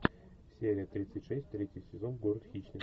серия тридцать шесть третий сезон город хищниц